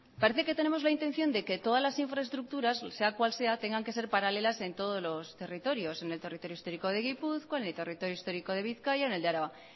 parece que tenemos la intención de que todas las infraestructuras sea cual sea tengan que ser paralelas en todos los territorios en el territorio histórico de gipuzkoa en el territorio histórico de bizkaia en el de araba